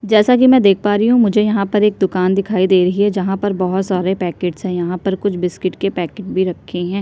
जैसा की में देख पा रही हु मुझे यह पर एक दुकान दिखाई दे रहे है जहाँ पर बहोत सरे पैकेटस है यहाँ पर कुछ बिस्कीट के पैकेट भी रखे है।